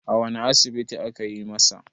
a wane asibiti aka yi masa?